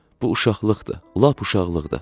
Bu uşaqlıqdır, lap uşaqlıqdır.